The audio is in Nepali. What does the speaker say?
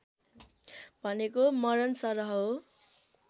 भनेको मरणसरह हो